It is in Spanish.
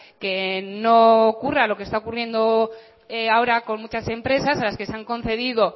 que no ocurra lo que está ocurriendo ahora con muchas empresas a las que se han concedido